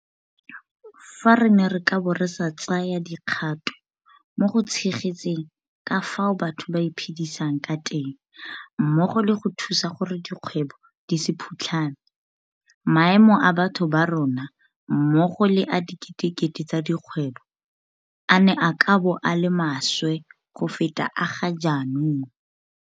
Fa re ne re ka bo re sa tsaya dikgato mo go tshegetseng ka fao batho ba iphedisang ka teng mmogo le go thusa gore dikgwebo di se phutlhame, maemo a batho ba rona mmogo le a diketekete tsa dikgwebo a ne a ka bo a le maswe go feta a ga jaanong.